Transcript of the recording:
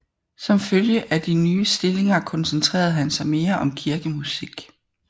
Som følge af de nye stillinger koncentrerede han sig mere om kirkemusik